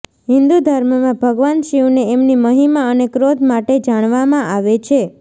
હિંદુ ધર્મમાં ભગવાન શિવને એમની મહિમા અને ક્રોધ માટે જાણવામાં આવે છે